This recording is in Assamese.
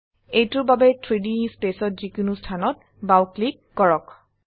এইটোৰ বাবে 3ডি স্পেসত যিকোনো স্থানত বাও ক্লিক কৰক